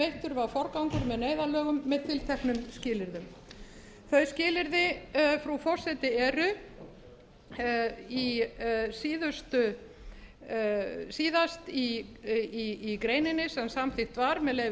veittur var forgangur með neyðarlögum með tilteknum skilyrðum þau skilyrði frú forseti eru síðast í greininni sem samþykkt var með leyfi